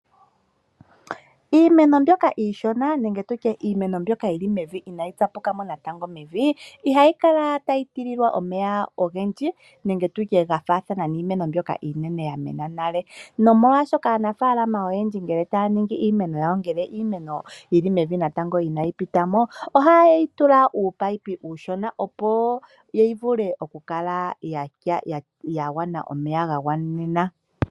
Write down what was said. Iimeno mbyoka iishona nenge tu tye iimeno mbyoka yi li mevi inayi tsapuka mo natango mevi ihayi kala tayi tekelwa omeya ogendji nenge tu tye ga faathana niimeno mbyoka iinene ya mena nale. Nomolwashoka aanafaalama ngele taya ningi iimeno yawo manga yi li mevi inayi pita mo ohaye yi tula uunino uushona, opo yi vule okukala ya mona omeya ga gwanenena.